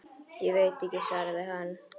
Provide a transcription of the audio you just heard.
Ég veit ekki, svaraði hann.